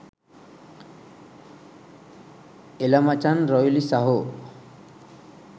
එල මචන් රොයිලි සහෝ